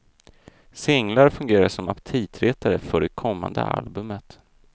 Singlar fungerar som aptitretare för det kommande albumet.